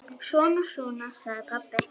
Svona, svona, sagði pabbi.